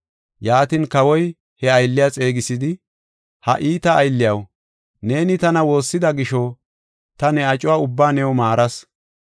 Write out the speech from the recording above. “Yaatin kawoy he aylliya xeegisidi, ‘Ha iita aylliyaw, neeni tana woossida gisho, ta ne acuwa ubbaa new maaras.